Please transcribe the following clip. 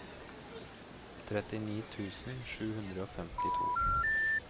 trettini tusen sju hundre og femtito